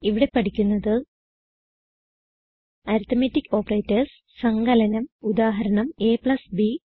ഇവിടെ പഠിക്കുന്നത് arithmetic operators സങ്കലനം ഉദാഹരണം ab